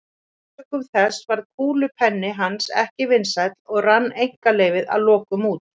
Sökum þess varð kúlupenni hans ekki vinsæll og rann einkaleyfið að lokum út.